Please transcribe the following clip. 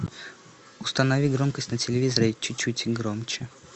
установи громкость на телевизоре чуть чуть громче